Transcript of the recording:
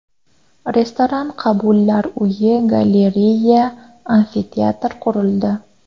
Restoran, qabullar uyi, galereya, amfiteatr qurildi.